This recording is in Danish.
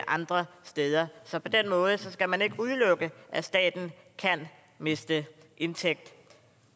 andre steder så på den måde skal man ikke udelukke at staten kan miste indtægter